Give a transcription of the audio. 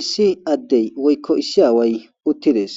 Issi adey woyko issi away utides